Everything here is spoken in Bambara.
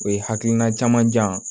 O ye hakilina caman jan